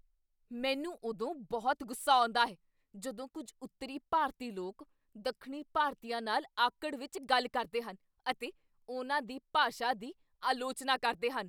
ਮੈਨੂੰ ਉਦੋਂ ਬਹੁਤ ਗੁੱਸਾ ਆਉਂਦਾ ਹੈ ਜਦੋਂ ਕੁੱਝ ਉੱਤਰੀ ਭਾਰਤੀ ਲੋਕ ਦੱਖਣੀ ਭਾਰਤੀਆਂ ਨਾਲ ਆਕੜ ਵਿੱਚ ਗੱਲ ਕਰਦੇ ਹਨ ਅਤੇ ਉਹਨਾਂ ਦੀ ਭਾਸ਼ਾ ਦੀ ਆਲੋਚਨਾ ਕਰਦੇ ਹਨ।